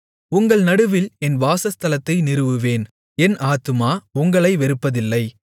உங்கள் நடுவில் என் வாசஸ்தலத்தை நிறுவுவேன் என் ஆத்துமா உங்களை வெறுப்பதில்லை